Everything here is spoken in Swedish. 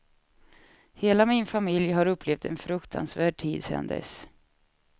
Hela min familj har upplevt en fruktansvärd tid sedan dess.